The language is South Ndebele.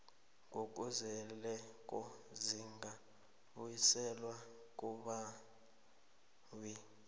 ngokuzeleko zizakubuyiselwa kumbawi